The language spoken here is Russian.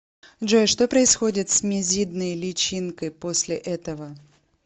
джой что происходит с мизидной личинкой после этого